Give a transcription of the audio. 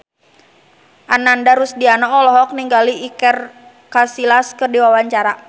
Ananda Rusdiana olohok ningali Iker Casillas keur diwawancara